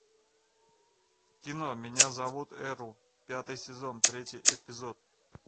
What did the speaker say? кино меня зовут эрл пятый сезон третий эпизод